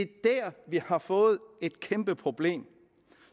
der vi har fået et kæmpe problem